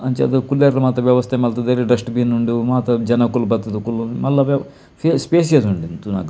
ಅಂಚಾದ್ ಕುಲ್ಲೆರೆಗ್ ಮಾತ ವ್ಯವಸ್ಠೆ ಮಲ್ತುದೆರ್ ಡಸ್ಟ್ ಬಿನ್ ಉಂಡು ಮಾತ ಜನೊಕುಲು ಬತ್ತ್ ದು ಕುಲ್ಲೊಂದು ಮಲ್ಲ ಸ್ಪೇ ಸ್ಪೇಷಿಯಸ್ ಉಂಡು ತೂನಗ.